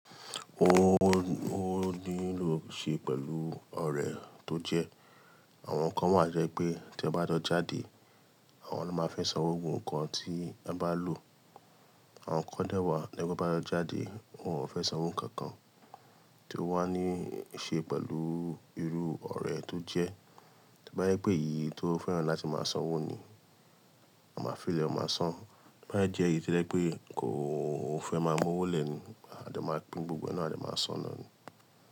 Ó, ó nílò ṣe pẹ̀lú ọ̀rẹ́ tó jẹ́. Àwọn kan wáa to jẹ́ pé tí ẹ bá jo jáde, àwọn ló máa fẹ́ sanwó gbogbo nǹkan tí ẹ bá lò. Àwọn kan dẹ́wàá to yẹ te bá jọ jáde, wọ́n ò fẹ́ sanwó nǹkan kan. Ti o wá ní ṣe pẹ̀lú irú ọ̀rẹ́ tó jẹ́. To bá yẹ pé èyí tí ó fẹ́ran láti máa sanwó ni, a máa fi lẹ, o máa san. To ba yẹ jẹ́ èyí to ye pe kò fẹ́ máa mú owó lẹ̀ ni, a máa pín gbogbo náà, a dè máa san náà ni.